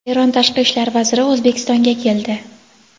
Eron Tashqi ishlar vaziri O‘zbekistonga keldi.